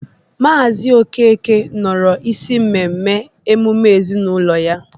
Maazị Okeke nọrọ isi mmemme emume ezinaụlọ ya.